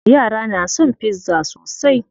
Yara na son pizza sosai.